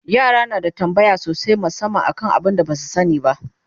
yara na da tambaya sosai musamman kan abun da Basu sani ba